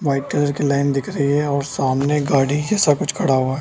White colour की line दिख रही है सामने गाड़ी जैसा कुछ खड़ा हुआ है।